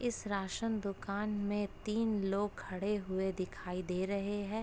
इस राशन दुकान में तीन लोग खड़े हुए दिखाई दे रहे है।